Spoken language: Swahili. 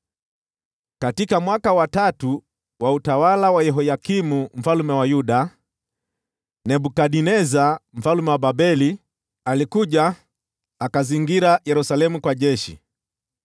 Katika mwaka wa tatu wa utawala wa Yehoyakimu mfalme wa Yuda, Nebukadneza mfalme wa Babeli alikuja akazingira Yerusalemu kwa jeshi.